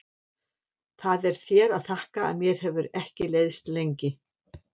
Það er þér að þakka að mér hefur ekki leiðst lengi.